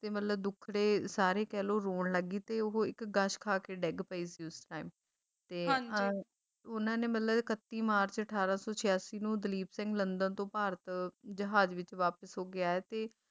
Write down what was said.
ਦੇ ਮਤਲਬ ਦੁੱਖੜੇ ਸਾਰੇ ਕਹਿਲੋ ਮਤਲਬ ਰੋਣ ਲੱਗੀ ਤੇ ਉਹ ਇੱਕ ਗਸ਼ ਖਾਕੇ ਡਿੱਗ ਪਈ ਸੀ ਉਸ time ਤੇ ਉਹਨਾਂ ਨੇ ਮਤਲਬ ਇੱਕਤੀ ਮਾਰਚ ਅਠਾਰਾਂ ਸੌ ਛਿਆਸੀ ਨੂੰ ਦਲੀਪ ਸਿੰਘ ਲੰਡਨ ਤੋਂ ਭਾਰਤ ਜਹਾਜ਼ ਵਿੱਚ ਵਾਪਸ ਹੋਕੇ ਆਇਆ ਸੀ